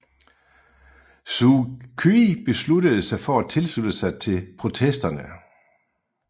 Suu Kyi besluttede sig for at tilslutte sig til protesterne